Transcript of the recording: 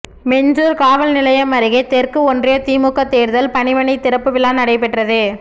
மீஞ்சூர் காவல் நிலையம் அருகே தெற்கு ஒன்றிய திமுக தேர்தல் பணிமனை திறப்பு விழா நடைபெற்றது